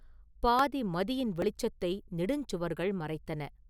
பாதி மதியின் வெளிச்சத்தை நெடுஞ் சுவர்கள் மறைத்தன.